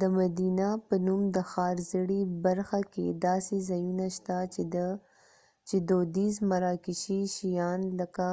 د مدینه په نوم د ښار زړې برخه کې داسې ځایونه شته چې دودیز مراکشي شیان لکه